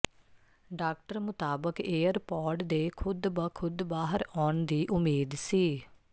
doctor ਮੁਤਾਬਕ AirPod ਦੇ ਖੁਦ ਬ ਖੁਦ ਬਾਹਰ ਆਉਣ ਦੀ ਉਮੀਦ ਸੀ